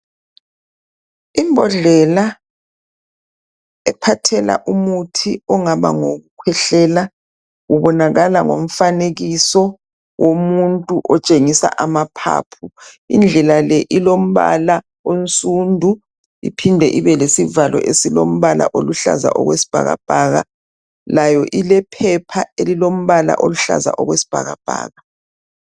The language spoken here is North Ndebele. Ibhodlela ephathela umuthi ongaba ngowokukhwehlela ubonakala ngomfanekiso omuntu okutshengisa amaphaphu. Ibhodlela le ilompala omsundu iphinde ibe lesivalo esilompala oluhlaza okwesibhakabhaka layo ilephepha elilompala oluhlaza okwesibhakabhaka.